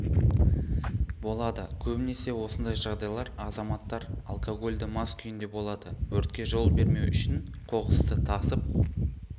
болады көбінесе осындай жағдайлар азаматтар алкогольді мас күйінде болады өртке жол бермеу үшін қоқысты тасып